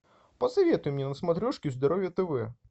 посоветуй мне на смотрешке здоровье тв